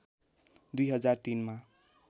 २००३ मा